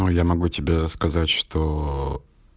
ну я могу тебе сказать что